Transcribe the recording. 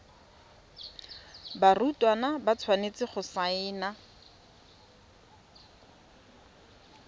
barutwana ba tshwanetse go saena